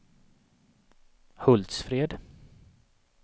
Hultsfred